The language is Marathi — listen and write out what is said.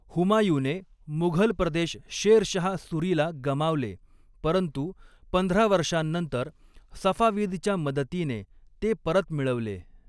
हुमायूने मुघल प्रदेश शेरशाह सुरीला गमावले, परंतु पंधरा वर्षांनंतर सफाविदच्या मदतीने ते परत मिळवले.